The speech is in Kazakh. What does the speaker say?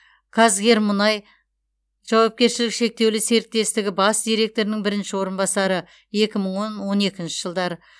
қазгермұнай жауапкершілігі шектеулі серіктестігі бас директорының бірінші орынбасары екі мың он он екінші жылдары